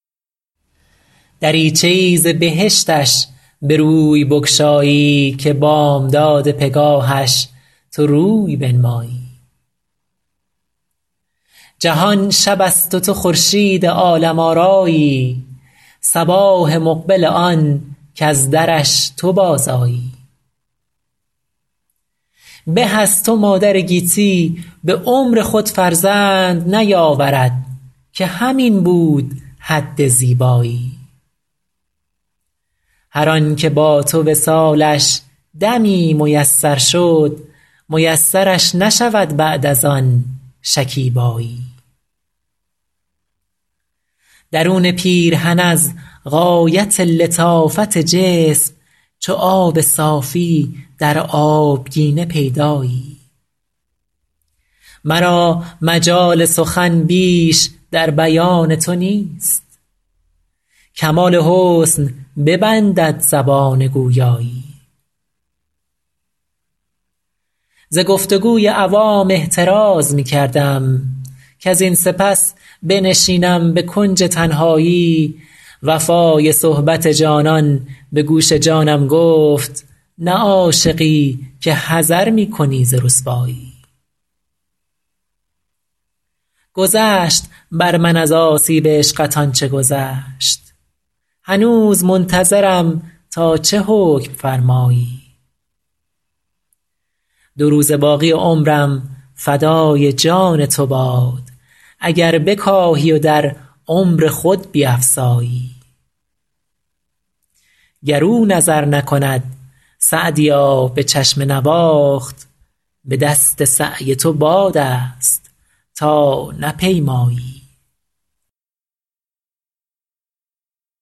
دریچه ای ز بهشتش به روی بگشایی که بامداد پگاهش تو روی بنمایی جهان شب است و تو خورشید عالم آرایی صباح مقبل آن کز درش تو بازآیی به از تو مادر گیتی به عمر خود فرزند نیاورد که همین بود حد زیبایی هر آن که با تو وصالش دمی میسر شد میسرش نشود بعد از آن شکیبایی درون پیرهن از غایت لطافت جسم چو آب صافی در آبگینه پیدایی مرا مجال سخن بیش در بیان تو نیست کمال حسن ببندد زبان گویایی ز گفت و گوی عوام احتراز می کردم کزین سپس بنشینم به کنج تنهایی وفای صحبت جانان به گوش جانم گفت نه عاشقی که حذر می کنی ز رسوایی گذشت بر من از آسیب عشقت آن چه گذشت هنوز منتظرم تا چه حکم فرمایی دو روزه باقی عمرم فدای جان تو باد اگر بکاهی و در عمر خود بیفزایی گر او نظر نکند سعدیا به چشم نواخت به دست سعی تو باد است تا نپیمایی